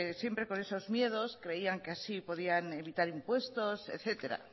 pues siempre con esos miedos creían que así podían evitar impuestos etcétera